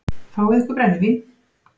Fáið ykkur brennivín!